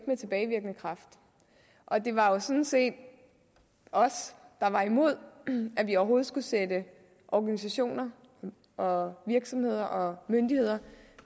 med tilbagevirkende kraft og det var jo sådan set os der var imod at vi overhovedet skulle sætte organisationer og virksomheder og myndigheder